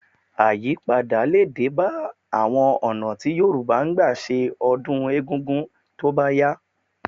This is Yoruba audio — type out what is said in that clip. Àyípadà lè dé bá àwọn ọ̀nà tí Yorùbá ń gbà ṣe ọdún egungun tó bá yá